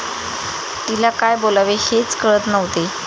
तिला काय बोलावे हेच कळत नव्हते.